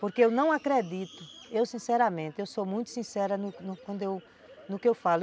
Porque eu não acredito, eu sinceramente, eu sou muito sincera no que eu falo.